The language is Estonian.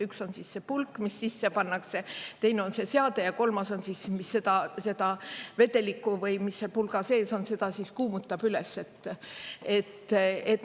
Üks on siis see pulk, mis sisse pannakse, teine on see seade ja kolmas on siis, mis seda vedelikku, või mis see pulga sees on, seda kuumutab üles.